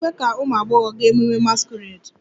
A na-ekwe ka ụmụ agbọghọ gaa ememme masquerade?